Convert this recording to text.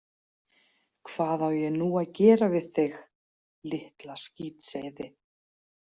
Hvað á ég nú að gera við þig, litla skítseiði?